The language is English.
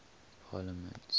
parliaments